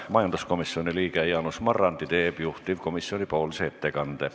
Majanduskomisjoni liige Jaanus Marrandi teeb juhtivkomisjoni nimel ettekande.